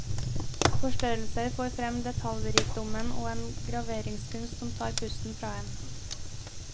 Forstørrelser får frem detaljrikdommen og en graveringskunst som tar pusten fra en.